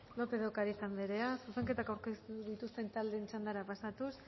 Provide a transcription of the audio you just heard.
lópez de ocáriz anderea zuzenketak aurkeztu dituzten taldeen txandara pasatuz